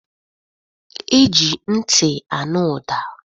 E ji ntị anụ ụda.